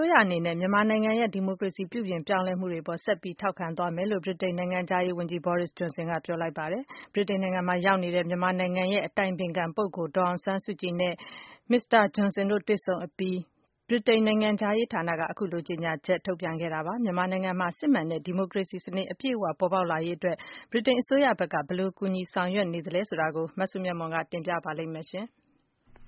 ိုးရအနေနဲ့ မြန်မာနိုင်ငံရဲ့ ဒီမိုကရေစီ ပြုပြင်ပြောင်းလဲမှုတွေအပေါ် ဆက်ပြီးထောက်ခံသွားမယ်လို့ ဗြိတိန်နိုင်ငံခြားရေးဝန်ကြီး Boris Johnson ကပြောကြားလိုက်ပါတယ်။ ဗြိတိန်နိုင်ငံမှာ ရောက်ရှိနေတဲ့ မြန်မာနိုင်ငံရဲ့ အတိုင်ပင်ခံပုဂ္ဂိုလ်ဒေါ်အောင်ဆန်းစုကြည်နဲ့ Mr. Johnson တွေ့ဆုံအပြီးမှာ ဗြိတိန် နိုင်ငံခြားရေးဌာနက ခုလိုကြေညာချက်ထုတ်ပြန်ခဲ့တာဖြစ်ပါတယ်။ မြန်မာနိုင်ငံမှာ စစ်မှန်တဲ့ ဒီမိုကရေစီစနစ်အပြည့်အဝ ပေါ်ပေါက်လာရေးအတွက် ဗြိတိန်အစိုးရဖက်က ဘယ်လိုကူညီဆောင်ရွက်နေသလဲဆိုတာကို မစုမြတ်မွန်က တင်ပြပါလိမ့်မယ်။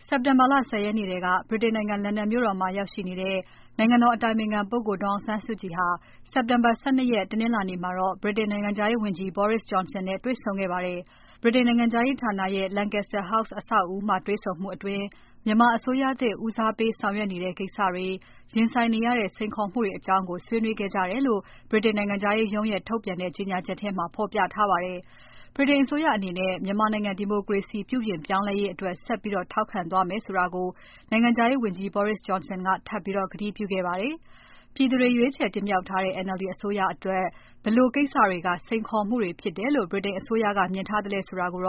စက်တင်ဘာလ ၁၀ ရက်နေ့ထဲက ဗြိတိန်နိုင်ငံ လန်ဒန်မြို့တော်မှာ ရောက်ရှိနေတဲ့ နိုင်ငံတော် အတိုင်ပင်ခံပုဂ္ဂိုလ်ဒေါ်အောင်ဆန်းစုကြည်ဟာ စက်တင်ဘာ ၁၂ ရက် တနင်္လာနေ့မှာ ဗြိတိန် နိုင်ငံခြားရေးဝန်ကြီး Boris Johnson နဲ့တွေ့ဆုံခဲ့ပါတယ်။ ဗြိတိန်နိုင်ငံခြားရေးဌာနရဲ့ Lancaster House အဆောက်အဦးမှာ တေ့ွဆုံမှုအတွင်း မြန်မာအစိုးရသစ် ဦးစားပေးဆောင်ရွက်နေတဲ့ ကိစ္စတွေ၊ ရင်ဆိုင်နေရတဲ့ စိန်ခေါ်မှုတွေအကြောင်းကို ဆွေးနွေးခဲ့ကြတယ်လို့ ဗြိတိန်နိုင်ငံခြားရေးရုံးရဲ့ထုတ်ပြန်တဲ့ ကြေညာချက်ထဲမှာ ဖော်ပြထားပါတယ်။ ဗြိတိန်အစိုးရအနေနဲ့ မြန်မာနိုင်ငံ ဒီမိုကရေစီ ပြုပြင်ပြောင်းလဲရေးတွေအတွက် ဆက်ပြီးထောက်ခံသွားမယ်လို့ နိုင်ငံခြားရေးဝန်ကြီး Boris Johnson က ထပ်ပြီးကတိပြုခဲ့ပါတယ်။ ပြည်သူတွေ ရွေးချယ်တင်မြှောက်ထားတဲ့ NLD အစိုးရ အတွက် ဘယ်လိုကိစ္စတွေက စိန်ခေါ်မှုတွေဖြစ်တယ်လို့ ဗြိတိန်အစိုးရဖက်က မြင်ထားသလဲဆိုတာကို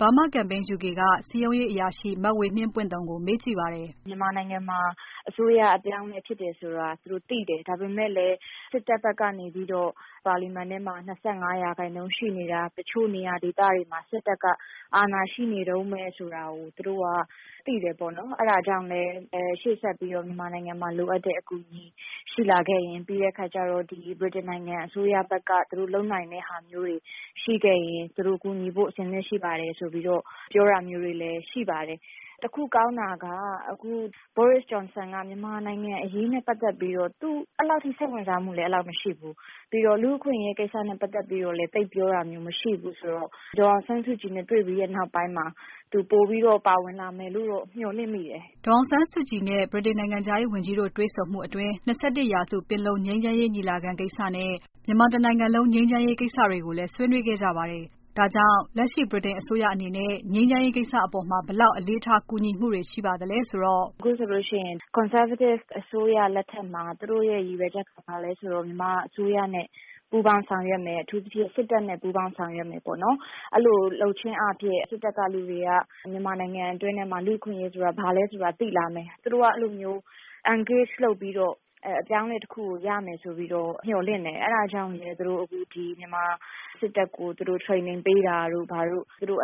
မြန်မာ့ဒီမိုကရေစီရေးအတွက် အစဉ်အဆက်ဆောင်ရွက်နေတဲ့ Burma Campaign UK က စည်းရုံးရေးအရာရှိ မဝေနှင်းပွင့်သုန်ကို မေးကြည့်ပါတယ်။ “မြန်မာနိုင်ငံမှာ အစိုးရအပြောင်းအလဲဖြစ်တယ်ဆိုတာ သူတို့သိတယ်။ ဒါပေမယ့်လည်း စစ်တပ်ဘက်ကနေပြီးတော့ ပါလီမန်ထဲမှာ ၂၅ ရာခိုင်နှုန်းရှိနေတာ၊ တချို့နေရာဒေသတွေမှာ စစ်တပ်က အာဏာရှိနေတုန်းပဲဆိုတာကို သူတို့ သိတယ်ပေါ့နော်။ အဲဒါကြောင့်လည်း ရှေ့ဆက်ပြီးတော့ မြန်မာနိုင်ငံမှာ လိုအပ်တဲ့အကူအညီရှိလာခဲ့ရင် ၊ ပြီးလို့ရှိရင် ဗြိတိန်နိုင်ငံအစိုးရဘက်က သူတို့လုပ်နိုင်တဲ့ဟာမျိုးတွေ ရှိခဲ့ရင် သူတို့ ကူညီဖို့အဆင်သင့်ရှိပါတယ်ဆိုတာမျိုးတွေ ပြောတာမျိုးတွေလည်း ရှိခဲ့ပါတယ်။ တခုကောင်းတာက အခု Boris Johnson က မြန်မာနိုင်ငံအရေးနဲ့ပတ်သက်ပြီးတော့ သူအဲဒီလောက်ထိ စိတ်ဝင်စားမှုလည်းမရှိခဲ့ဘူး၊ ပြီးတော့ လူ့အခွင့်အရေးကိစ္စနဲ့ ပတ်သက်ပြီးတော့လည်း သိပ်ပြောတာမျိုးမရှိဘူးဆိုတော့ ဒေါ်အောင်ဆန်းစုကြည်နဲ့ တွေ့ပြီးတဲ့နောက်ပိုင်းမှာ သူပိုပြီးတော့ ပါဝင်လာမယ်လို့တော့ မျှော်လင့်မိတယ်။” ဒေါ်အောင်ဆန်းစုကြည်နဲ့ ဗြိတိန်နိုင်ငံခြားရေးဝန်ကြီးတို့ တွေ့ဆုံမှုအတွင်း ၂၁ ရာစုပင်လုံငြိမ်းချမ်းရေးညီလာခံကိစ္စနဲ့ မြန်မာတနိုင်ငံလုံးငြိမ်းချမ်းရေး၊ ကိစ္စတွေကိုလဲ ဆွေးနွေးခဲ့ကြပါတယ်။ ဒါကြောင့် လက်ရှိဗြိတိန်အစိုးရအနေနဲ့ ငြိမ်းချမ်းရေးကိစ္စအပေါ်မှာ ဘယ်လောက် အလေးထားကူညီမှုတွေရှိပါသလဲ ဆိုတော့။ “အခုဆိုရင် Conservative အစိုးရလက်ထက်မှာ သူ့တို့ရည်ရွယ်ချက်က ဘာလဲဆိုတော့ မြန်မာအစိုးရနဲ့ ပူးပေါင်းဆောင်ရွက်မယ်။ အထူးသဖြင့် စစ်တပ် နဲ့ ပူးပေါင်းဆောင်ရွက်မယ်ပေါ့နော်။ အဲဒီလိုလုပ်ခြင်းအားဖြင့် စစ်တပ်ကလူတွေက မြန်မာနိုင်ငံအတွင်းထဲမှာ လူ့အခွင့်အရေးဆိုတာ ဘာလဲဆိုတာကို သိလာမယ်၊ သူတို့က အဲဒီလိုမျိုး Engage လုပ်ပြီးတော့ အပြောင်းအလဲတခုကို ရမယ်ဆိုပြီးတော့ မျှော်လင့်တယ် ။ အဲဒါကြောင့်လည်း မြန်မာစစ်တပ်ကို သူတို့ training ပေးတာတို့ ဘာတို့ လုပ်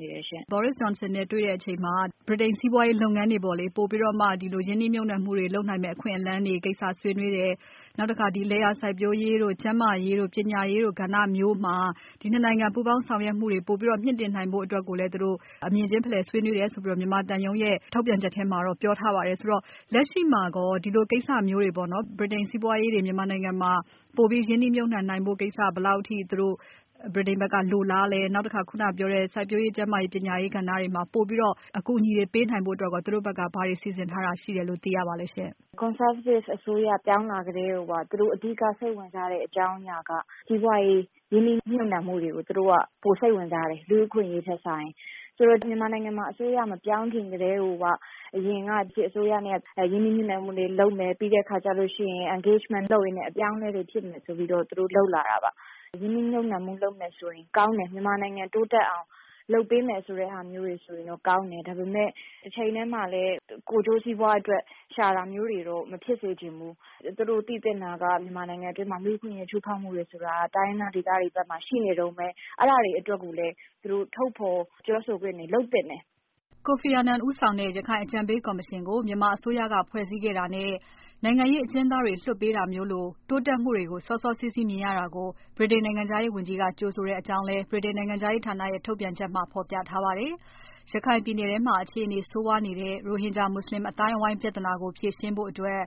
နေတယ်ရှင့်။ မေး။ ။ Boris Johnson နဲ့ တွေ့တဲ့အချိန်မှာ ဗြိတိန်စီးပွားရေးလုပ်ငန်းတွေပေါ့လေ ပိုပြီးတော့မှ ရင်းနှီးမြှပ်နှံမှုတွေလုပ်နိုင်မယ့်အခွင့်အလမ်းတွေကိစ္စဆွေးနွေးတယ်။ နောက်တခါ လယ်ယာစိုက်ပျိုးရေးတို့ ၊ ကျန်းမာရေးတို့ ၊ ပညာရေးတို့ ကဏ္ဍတွေမှာ ဒီ ၂ နိုင်ငံ ပူးပေါင်းဆောင်ရွက်မှုတွေပိုပြီးတော့ မြှင့်တင်နိုင်ဖို့အတွက်ကိုလည်း သူတို့အမြင်ခြင်းဖလှယ်ဆွေးနွေးတယ် ဆိုပြီးတော့ မြန်မာသံရုံးရဲ့ ထုတ်ပြန်ချက်ထဲမှာတော့ ပြောထားပါတယ်။ ဆိုတော့ လက်ရှိမှာကော ဒီလိုကိစ္စမျိုးတွေပေါ့နော် ဗြိတိန်စီးပွားရေးတွေ မြန်မာနိုင်ငံမှာ ပိုပြီး ရင်းနှီးမြှပ်နှံနိုင်ဖို့ ကိစ္စ ဘယ်လောက်အထိ သူတို့ ဗြိတိန်ဘက်ကလိုလားသလဲ၊ နောက်ပြီး ခုနပြောတဲ့ လယ်ယာစိုက်ပျိုးရေးတို့ ၊ ကျန်းမာရေးတို့ ၊ ပညာရေး ကဏ္ဍတွေမှာ ပိုပြီးတော့ အကူအညီတွေပေးနိုင်ဖို့အတွက်ကိုရော သူတို့ ဘက်က ဘာတွေ စီစဉ်ထားတာရှိတယ် ဆိုတာ သိရပါသလဲရှင့်။ ဖြေ။ ။ Conservative အစိုးရ ပြောင်းလာကတည်းကိုက သူတို့ အဓိက စိတ်ဝင်စားတဲ့ အကြောင်းအရာက စီးပွားရေး၊ ရင်းနှီးမြုပ်နှံမှုတွေကို သူတို့က ပိုစိတ်ဝင်စားတယ်၊ လူ့အခွင့်အရေးထက်စာရင်။ ဆိုတော့ မြန်မာနိုင်ငံမှာ အစိုးရမပြောင်းခင်ကတည်းက အရင်က စစ်အစိုးရနဲ့ ရင်းနှီးမြုပ်နှံမှုတွေလုပ်မယ် ပြီးလို့ရှိရင် engagement လုပ်ရင်းနဲ့ အပြောင်းအလဲတွေ ဖြစ်မယ်ဆိုပြီးတော့ သူတို့လုပ်လာတာပါ။ ရင်းနှီးမြုပ်နှံမှုလုပ်မယ်ဆိုရင် ကောင်းတယ် မြန်မာနိုင်ငံ တိုးတက်အောင်လုပ်ပေးမယ်ဆိုတဲ့ဟာမျိုးတွေဆိုရင်တော့ ကောင်းတယ်။ ဒါပေမယ့် တချိန်တည်းမှာလည်း ကိုယ်ကျိုးစီးပွားအတွက် ရှာတာမျိုးတွေတော့ မဖြစ်စေချင်ဘူး။ သူတို့ သိသင့်တာက မြန်မာနိုင်ငံအတွင်းမှာ လူ့အခွင့်အရေးချိုးဖောက်မှုတွေဆိုတာက တိုင်းရင်းသားဒေသတွေဘက်မှာ ရှိနေတုန်းပဲ။ အဲဒါတွေအတွက်ကိုလည်း သူတို့ ထုတ်ဖော်ပြောဆိုခွင့်တွေလုပ်သင့်တယ်။” Kofi Annan ဦးဆောင်တဲ့ ရခိုင်အကြံပေးကော်မရှင်ကို မြန်မာအစိုးရက ဖွဲ့စည်းခဲ့တာနဲ့ နိုင်ငံရေးအကျဉ်းသားတွေလွှတ်ပေးတာလို တိုးတက်မှုတွေကို စောစောစီးစီးမြင်ရတာကို ဗြိတိန်နိုင်ငံခြားရေးဝန်ကြီးက ကြိုဆိုတဲ့အကြောင်းလည်း ဗြိတိန်နိုင်ငံခြားရေးဌာနရဲ့ ထုတ်ပြန်ချက်ထဲမှာ ဖော်ပြထားပါတယ်။ ရခိုင်ပြည်နယ်ထဲမှာ အခြေအနေဆိုးဝါးနေတဲ့ ရိုဟင်ဂျာလူမှုအသိုင်းအဝိုင်းပြဿနာကို ဖြေရှင်းဖို့အတွက်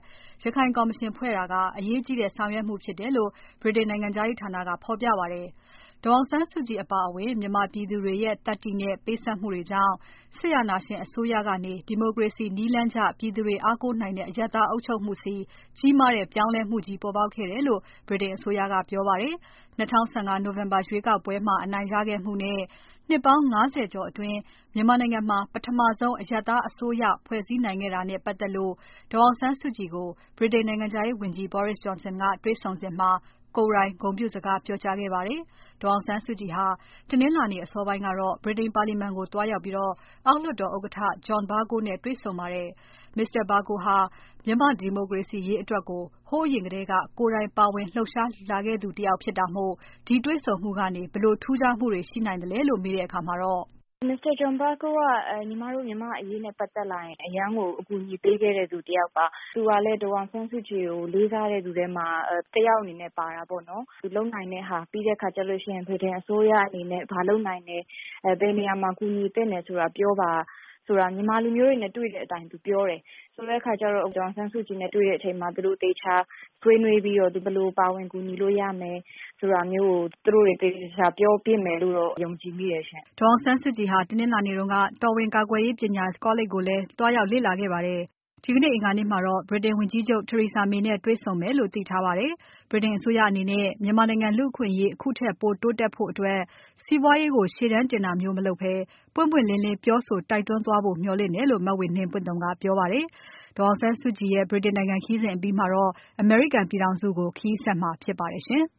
ရခိုင်ကော်မရှင်ဖွဲ့တာက အရေးကြီးတဲ့ ဆောင်ရွက်မှုဖြစ်တယ်လို့ ဗြိတိန်နိုင်ငံခြားရေးဌာနာက ဖော်ပြပါတယ်။ ဒေါ်အောင်ဆန်းစုကြည်အပါအဝင် မြန်မာပြည်သူတွေရဲ့ သတ္တိနဲ့ ပေးဆပ်မှုတွေကြာင့် စစ်အာဏာရှင်အစိုးရကနေ ဒီမိုကရေစီနည်းလမ်းကျ ပြည်သူတွေအားကိုးနိုင်တဲ့ အရပ်သားအစိုးရအုပ်ချုပ်မှုဆီ ကြီးမားတဲ့ ပြောင်းလဲမှုကြီးဖြစ်ပေါ်ခဲ့တယ်လို့ ဗြိတိန်အစိုးရကပြောပါတယ်။ ၂၀၁၅ နိုဝင်ဘာ ရွေးကောက်ပွဲမှာ အနိုင်ရခဲ့မှုနဲ့ နှစ်ပေါင်း ၅၀ ကျော်အတွင်း မြန်မာနိုင်ငံမှာ ပထမဆုံး အရပ်သားအစိုးရဖွဲ့စည်းနိုင်ခဲ့တဲ့တာနဲ့ ပါတ်သက်လို့ ဒေါ်အောင်ဆန်းစုကြည်ကို ဗြိတိန်နိုင်ငံခြားရေးဝန်ကြီး Boris Johnson က တေ့ွဆုံစဉ်မှာ ကိုယ်တိုင်ဂုဏ်ပြုစကားပြောကြားခဲ့ပါတယ်။ ဒေါ်အောင်ဆန်စုကြည်ဟာ တနင်္လာနေ့ အစောပိုင်းကတော့ ဗြိတိန်ပါလီမာန်ကို သွားရောက်ပြီး အောက်လွှတ်တော်ဥက္ကဋ္ဌ John Bercow နဲ့ တေ့ွဆုံခဲ့ပါတယ်။ Mr. Bercow ဟာမြန်မာ့ဒီမိုကရေစီရေးအတွက်ကို ဟိုးအရင်ထဲက ကိုယ်တိုင်ပါဝင်လှုပ်ရှားလာခဲ့သူတယောက်ဖြစ်တာမို့ ဒီတေ့ွဆုံမှုကနေ ဘယ်လိုထူးခြားမှုတွေရှိလာနိုင်သလဲလို့ မေးတဲ့အခါမှာတော့ “Mr. John Bercow က မြန်မာ့အရေးနဲ့ပတ်သက်လာရင် အရမ်းကို အကူအညီပေးခဲ့တဲ့သူတယောက်ပါ။ သူကလည်း ဒေါ်အောင်ဆန်းစုကြည်ကို လေးစားတဲ့သူထဲမှာ တယောက်အနေနဲ့ ပါတာပေါ့နော်။ သူလုပ်နိုင်တဲ့ဟာ ပြီးတဲ့အခါကျရင် ဗြိတိန်အစိုးရအနေနဲ့ ဘာလုပ်နိုင်တယ်၊ ဘယ်နေရာမှာ ကူညီသင့်တယ်ဆိုတာ ပြောပါဆိုတာ မြန်မာလူမျိုးတွေနဲ့ တွေ့တဲ့အတိုင်းသူက ပြောတယ်။ ဆိုတဲ့အခါကျတော့ ဒေါ်အောင်ဆန်းစုကြည်နဲ့ တွေ့တဲ့အချိန်မှာသူတို့ သေချာဆွေးနွေးပြီးတော့ သူတို့ ဘယ်လိုပါဝင်ကူညီလို့ရမယ်၊ ဆိုတာမျိုးကို သူတို့တွေ သေသေချာချာပြောဖြစ်မယ်လို့တော့ ယုံကြည်မိတယ်ရှင့်။” Burma Campaign UK က စည်းရုံးရေးအရာရှိ မဝေနှင်းပွင့်သုန်ဖြစ်ပါတယ်။ ဒေါ်အောင်ဆန်းစုကြည်ဟာ တနင်္လာနေ့တုန်းက တော်ဝင်ကာကွယ်ရေးပညာကောလိပ်ကိုလဲ သွားရောက်လေ့လာခဲ့ပါတယ်။ ဒီကနေ့ အင်္ဂါနေ့မှာတော့ ဗြိတိန်ဝန်ကြီးချုပ် Theresa May နဲ့တွေ့ဆုံမယ်လို့ သိထားပါတယ်။ ဗြိတိန်အစိုးရအနေနဲ့ မြန်မာနိုင်ငံလူ့အခွင့်အရေး အခုထက် ပိုတိုးတက်ဖို့အတွက် စီးပွားရေးကို ရှေ့တန်းတင်တာမျိုးမလုပ်ဘဲ ပွင့်ပွင့်လင်းလင်း ပြောဆိုတိုက်တွန်းသွားဖို့ မျှော်လင့်တယ်လို့လဲ မဝေနှင်းပွင့်သုန်က ပြောပါတယ်။ ဒေါ်အောင်ဆန်းစုကြည်ရဲ့ ဗြိတိန်နိုင်ငံခရီးပြီးရင် အမေရိကန်ပြည်ထောင်စုကို ခရီးဆက်မှာဖြစ်ပါတယ်ရှင်။